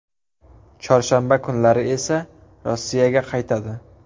Chorshanba kunlari esa Rossiyaga qaytadi.